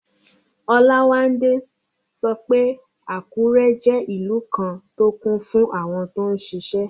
Olawande sọ pé Àkúrẹ́ jẹ́ ìlú kan tó kún fún àwọn tó n ṣiṣẹ́